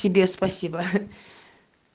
тебе спасибо